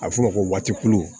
A bɛ f'o ma ko waatoli